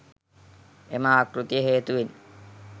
එම ආකෘතිය හේතුවෙන්